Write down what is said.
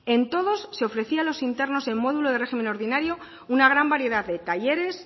en todos se ofrecía a los internos en módulo de régimen ordinario una gran variedad de talleres